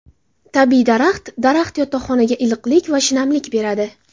Tabiiy daraxt Daraxt yotoqxonaga iliqlik va shinamlik beradi.